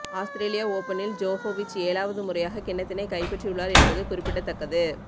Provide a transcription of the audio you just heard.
அஸ்திரேலிய ஓபனில் ஜோகோவிச் ஏழாவது முறையாக கிண்ணத்தினை கைப்பற்றியுள்ளார் என்பது குறிப்பிடத்தக்கது